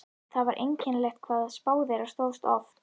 Það var einkennilegt hvað spá þeirra stóðst oft.